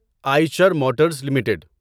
Eicher Motors limited